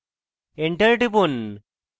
enter টিপুন